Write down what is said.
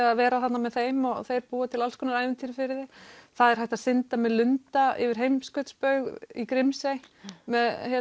að vera með þeim og þeir búa til alls kyns ævintýri fyrir þig það er hægt að synda með lunda yfir heimskautsbaug í Grímsey með